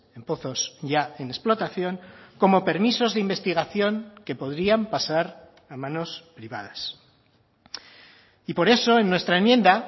en pozos ya en explotación como permisos de investigación que podrían pasar a manos privadas y por eso en nuestra enmienda